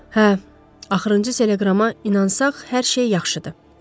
Hə, axırıncı teleqrama inansaq hər şey yaxşıdır.